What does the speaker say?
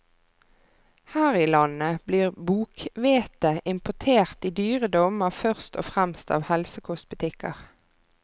Her i landet blir bokhvete importert i dyre dommer først og fremst av helsekostbutikker.